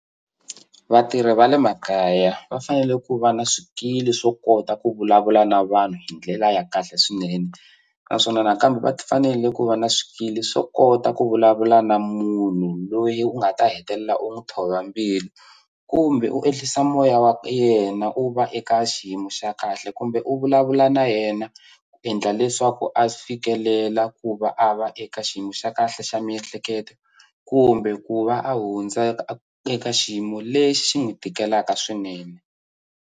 Vatirhi va le makaya va fanele ku va na swikili swo kota ku vulavula na vanhu hi ndlela ya kahle swinene naswona nakambe va fanele ku va na swikili swo kota ku vulavula na munhu loyi u nga ta hetelela u n'wu thova mbilu kumbe u ehlisa moya wa yena u va eka xiyimo xa kahle kumbe u vulavula na yena ku endla leswaku a fikelela ku va a va eka xiyimo xa kahle xa miehleketo kumbe ku va a hundza eka xiyimo lexi xi n'wi tikelaka swinene.